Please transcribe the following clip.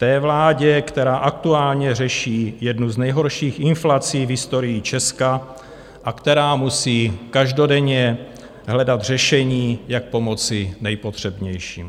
Té vládě, která aktuálně řeší jednu z nejhorších inflací v historii Česka a která musí každodenně hledat řešení, jak pomoci nejpotřebnějším.